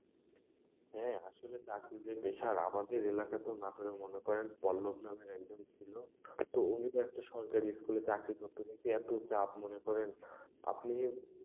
হ্যাঁ, আসলে চাকরিদের পেশার, আমাদের এলাকাতেও নাটোরের মনে করেন পল্লব নামে একজন ছিল তো উনিও একটা সরকারি school এ চাকরি করতো কিন্তু এত চাপ মনে করেন, আপনি।